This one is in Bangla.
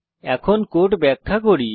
এখন কোড ব্যাখ্যা করি